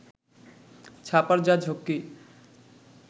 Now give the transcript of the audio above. ছাপার যা ঝক্কি